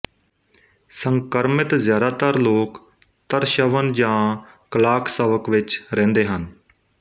ਸੰਕਰਮਿਤ ਜ਼ਿਆਦਾਤਰ ਲੋਕ ਤਰਸ਼ਵਨ ਜਾਂ ਕਲਾਕਸਵਕ ਵਿੱਚ ਰਹਿੰਦੇ ਹਨ